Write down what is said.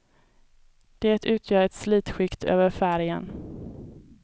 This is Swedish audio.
Det utgör ett slitskikt över färgen.